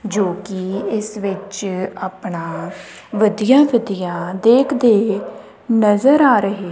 ਜੋ ਕਿ ਇਸ ਵਿੱਚ ਆਪਣਾ ਵਧੀਆ ਵਧੀਆ ਦੇਖਦੇ ਨਜ਼ਰ ਆ ਰਹੇ--